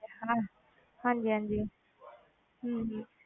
ਹਾਂ ਹਾਂਜੀ ਹਾਂਜੀ ਹਮ